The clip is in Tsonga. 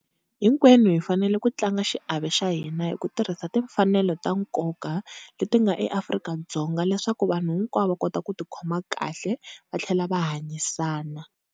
Hinkwenu hi fanele ku tlanga xiave xa hina hi ku tirhisa timfanelo ta nkoka leti nga eAfrika-Dzonga leswaku vanhu hinkwavo va kota ku tikhoma kahle va tlhela va hanyisana.